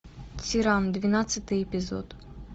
тиран двенадцатый эпизод